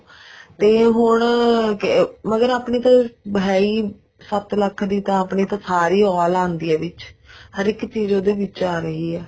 ਵੀ ਹੁਣ ਕੇ ਮਗਰ ਆਪਣੀ ਤਾਂ ਹੈ ਈ ਸੱਤ ਲੱਖ ਆਪਣੀ ਤਾਂ ਸਾਰੀ all ਆਉਂਦੀ ਆ ਹੇ ਇੱਕ ਚੀਜ਼ ਉਹਦੇ ਵਿੱਚ ਆ ਰਹੀ ਹੈ